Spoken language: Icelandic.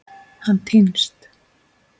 Hann týnst?